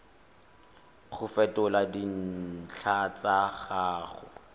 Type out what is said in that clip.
go fetola dintlha tsa gago